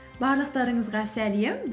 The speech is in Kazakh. барлықтарыңызға сәлем